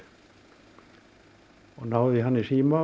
og náði í hann í síma